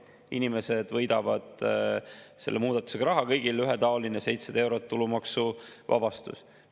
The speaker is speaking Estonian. Inimesed võidavad selle muudatusega raha, kõigil on ühetaoline 700 eurot tulumaksuvabastust.